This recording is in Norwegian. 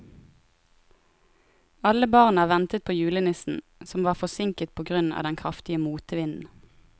Alle barna ventet på julenissen, som var forsinket på grunn av den kraftige motvinden.